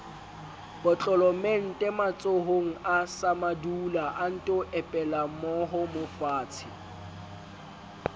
potlolomente matsohonga samadula anto epelamoomofatshe